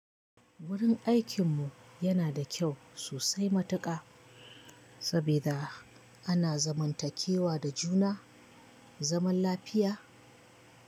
Wurin aikin mu yana da kyau sosai matuƙa sabida ana zaman takewa da juna zaman lafiya.